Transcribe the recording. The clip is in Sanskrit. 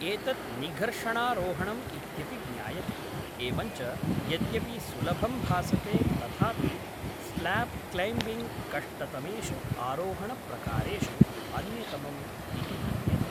एतत् निघर्षणारोहणम् इत्यपि ज्ञायते, एवञ्च यद्यपि सुलभं भासते तथापि स्ल्याब् क्लैम्बिङ्ग् कष्टतमेषु आरोहणप्रकारेषु अन्यतमम् इति मन्यते।